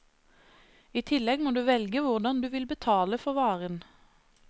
I tillegg må du velge hvordan du vil betale for varen.